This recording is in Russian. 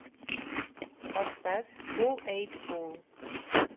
поставь кул эйд пул